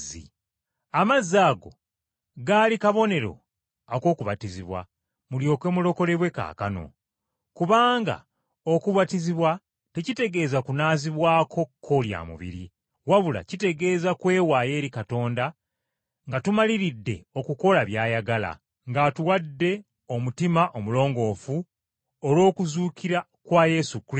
Amazzi ago gaali kabonero ak’okubatizibwa mulyoke mulokolebwe kaakano. Kubanga okubatizibwa tekitegeeza kunaazibwako kko lya mubiri, wabula kitegeeza kwewaayo eri Katonda nga tumaliridde okukola by’ayagala, ng’atuwadde omutima omulongoofu olw’okuzuukira kwa Yesu Kristo,